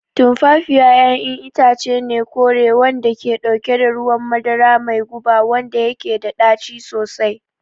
Tumfafiya ƴaƴan itace ne kore wanda ke dauke da ruwan madara mai guba wanda yake da ɗaci sosai.